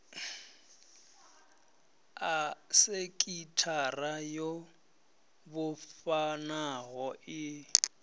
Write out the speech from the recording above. a sekithara yo vhofhanaho i